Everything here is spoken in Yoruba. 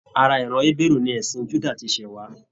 Ará iran Ébérú ní ẹsìn Juda ti ṣẹ wá